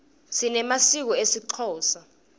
sinemasiko esixhosa